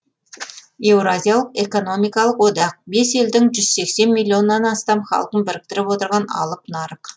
еуразиялық экономикалық одақ бес елдің жүз сексен миллионнан астам халқын біріктіріп отырған алып нарық